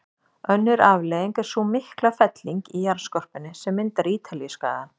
Önnur afleiðing er sú mikla felling í jarðskorpunni sem myndar Ítalíuskagann.